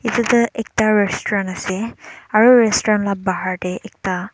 filta restaurant ase aro restaurant laga pahar teh ekta.